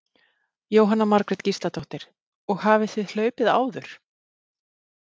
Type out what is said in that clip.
Jóhanna Margrét Gísladóttir: Og hafið þið hlaupið áður?